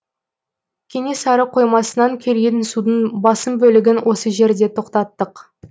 кенесары қоймасынан келген судың басым бөлігін осы жерде тоқтаттық